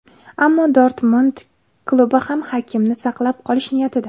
Ammo Dortmund klubi ham Hakimini saqlab qolish niyatida.